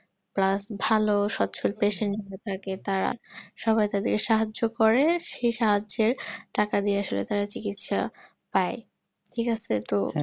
plus ভালো patient থাকে তারা সবাই তাদেরকে সাহায্য করে সেই সাহায্যে টাকা দিয়ে তাদের আসলে সাহায্য পাই ঠিক আছে তো